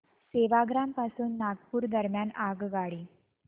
सेवाग्राम पासून नागपूर दरम्यान आगगाडी